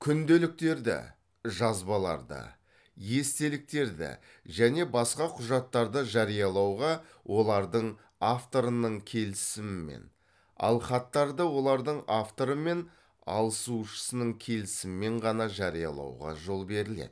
күнделіктерді жазбаларды естеліктерді және баска құжаттарды жариялауға олардын авторының келісімімен ал хаттарды олардың авторы мен алысушысының келісімімен ғана жариялауға жол беріледі